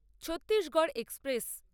Chhattisgarh express